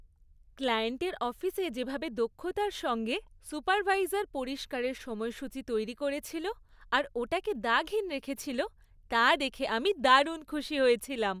ক্লায়েন্টের অফিসে যেভাবে দক্ষতার সঙ্গে সুপারভাইজার পরিষ্কারের সময়সূচি তৈরি করেছিল আর ওটাকে দাগহীন রেখেছিল, তা দেখে আমি দারুণ খুশি হয়েছিলাম।